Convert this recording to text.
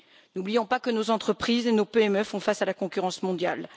N'oublions pas que nos entreprises et nos PME font face à la concurrence mondiale.